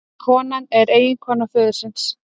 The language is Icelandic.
Konan er eiginkona föðursins